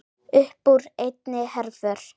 Uppúr einni herför